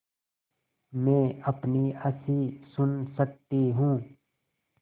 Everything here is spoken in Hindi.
मैं अपनी हँसी सुन सकती हूँ